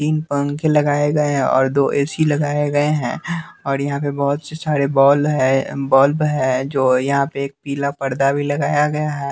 तीन पंखे लगाए गए हैं और दो ए_सी लगाए गए हैं और यहां पे बहुत से सारे बॉल है बल्ब है जो यहां पे एक पीला पर्दा भी लगाया गया है।